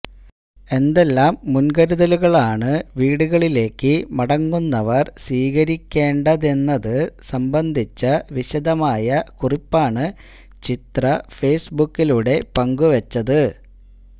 എന്തെല്ലാം മുൻകരുതലുകളാണ് വീടുകളിലേക്കു മടങ്ങുന്നവർ സ്വീകരിക്കേണ്ടതെന്നതു സംബന്ധിച്ച വിശദമായ കുറിപ്പാണു ചിത്ര ഫെയ്സ്ബുക്കിലൂടെ പങ്കുവച്ചത്